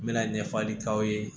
N mɛna ɲɛfɔli k'aw ye